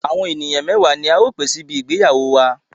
Àwọn ènìyàn mẹwa ni a ó pè síbi ìgbéyàwó wàá.